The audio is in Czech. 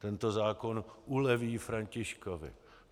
Tento zákon uleví Františkovi.